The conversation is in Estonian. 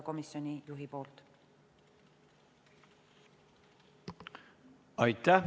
Aitäh!